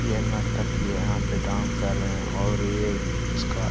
ये नर्तकी है यहाँ पे डांस कर रहें हैं और ये इसका.--